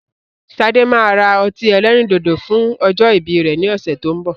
Sade máa ra ọtí ẹlẹ́rìndòdò fún ọjọ́ ìbí rẹ ni ọ̀sẹ̀ tó ń bọ̀